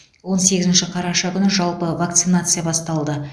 он сегізінші қараша күні жалпы вакцинация басталды